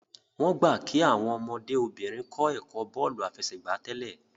wón gbà kí Àwọn ọmọdé obìnrin kò ẹkọ bóòlù àfẹsẹ̀gbá tèlé